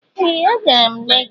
Ee! Agara m Lagos.